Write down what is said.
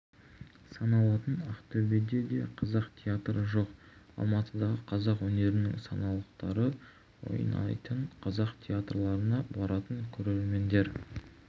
саналатын ақтөбеде де қазақ театры жоқ алматыдағы қазақ өнерінің саңлақтары ойнайтын қазақ театрларына баратын көрермендер